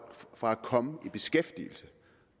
fra at komme i beskæftigelse